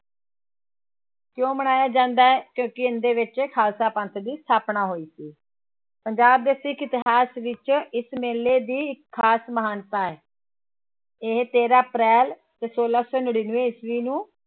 ਕਿਉਂ ਮਨਾਇਆ ਜਾਂਦਾ ਹੈ ਕਿਉਂਕਿ ਇਹਦੇ ਵਿੱਚ ਖ਼ਾਲਸਾ ਪੰਥ ਦੀ ਸਥਾਪਨਾ ਹੋਈ ਸੀ, ਪੰਜਾਬ ਦੇ ਸਿੱਖ ਇਤਿਹਾਸ ਵਿੱਚ ਇਸ ਮੇਲੇ ਦੀ ਖ਼ਾਸ ਮਹਾਨਤਾ ਹੈ ਇਹ ਤੇਰਾਂ ਅਪ੍ਰੈਲ ਤੇ ਛੋਲਾਂ ਸੌ ਨੜ੍ਹਿਨਵੇਂ ਈਸਵੀ ਨੂੂੰ